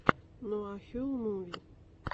нуахюл муви